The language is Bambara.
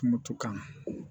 Kuŋoto kan